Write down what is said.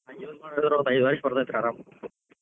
ಹಂಗ್ use ಮಾಡಿದ್ರ ಒಂದ್ ಐದ್ ವರ್ಷ್ ಬರ್ತೇತ್ರಿ ಅರಾಮ್.